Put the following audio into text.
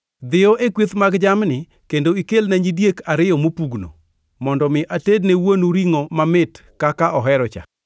Dhiyo e kweth mag jamni kendo ikelna nyidiek ariyo mopugno, mondo mi atedne wuonu ringʼo mamit kaka ohero-cha.